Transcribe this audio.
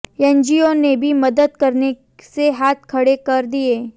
NGO ने भी मदद करने से हाथ खड़े कर दिए